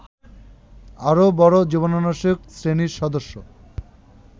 আরও বড় জীবাণুনাশক শ্রেণীর সদস্য